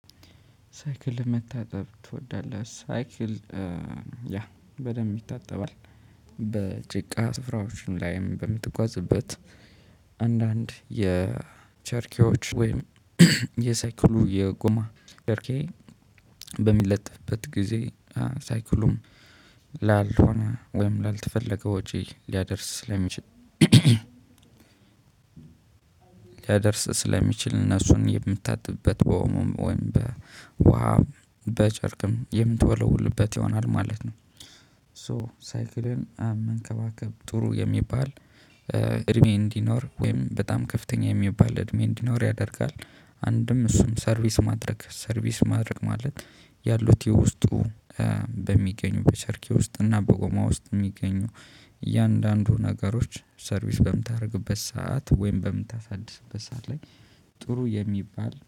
ሳይክል ለመታጠብ ትወዳለህ? ሳይክል ያ በደንብ ይታጠባል። በጭቃ ስፍራዎች ላይም በምትጓዝበት አንዳንድ የቸርኪዎች ወይም የሳይክሉ የጎማ ደርኬ በሚለጥፍበት ጊዜ ሳይክሉም ላልሆነ ወይም ላልተፈለገ ወጪ ሊያደርስ ስለሚችል። ሊያደርስ ስለሚችል እነሱን የምታጥብበት በኦሞም ወይም በውሃም በጨርቅም የምትወለውልበት ይሆናል ማለት ነው። ሶ ሳይክልን መንከባከብ ጥሩ የሚባል እድሜ እንዲኖር ወይም በጣም ከፍተኛ የሚባል እድሜ እንዲኖር ያደርጋል። አንድም እሱም ሰርቪስ ማድረግ ሰርቪስ ማድረግ ማለት ያሉት የውስጡ በሚገኙ በቸርኪ ውስጥ እና በጎማ ውስጥ የሚገኙ እያንዳንዱ ነገሮች ሰርቪስ በምታደርግበት ሰዓት ወይም በምታሳድስበት ሰዓት ላይ ጥሩ የሚባል